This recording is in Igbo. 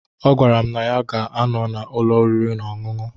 Ọ gwara m na ya ga anọ na ụlọ orịri na ọṅụṅụ.